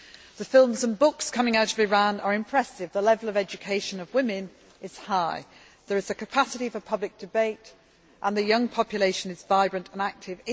The films and books coming out of Iran are impressive, the level of education of women is high, there is a capacity for public debate and the young population is vibrant and active.